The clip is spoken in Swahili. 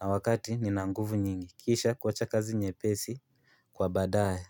na wakati nina nguvu nyingi kisha kuwacha kazi nyepesi kwa badaae.